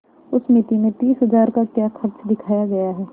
उस मिती में तीस हजार का क्या खर्च दिखाया गया है